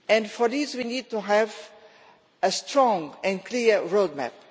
For this we need to have a strong and clear road map.